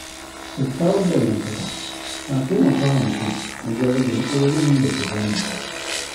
Kyakkyawar dangantaka na taimaka wa mutum wajen rage matsalolin da ke damunsa.